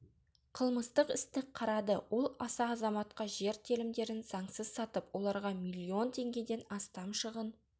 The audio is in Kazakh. қылмыстық істі қарады ол аса азаматқа жер телімдерін заңсыз сатып оларға миллион теңгеден астам шығын